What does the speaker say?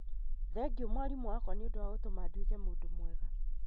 Thengiũ mwarimũ wakwa nĩũndũ wa gũtũma nduĩke mũndũ mwega